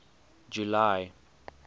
july